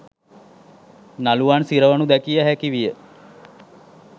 නළුවන් සිරවනු දැකිය හැකි විය.